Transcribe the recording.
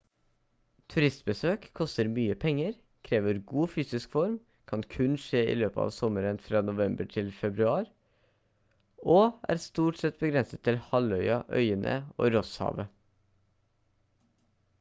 turistbesøk koster mye penger krever god fysisk form kan kun skje i løpet av sommeren fra november til februar og er stort sett begrenset til halvøya øyene og rosshavet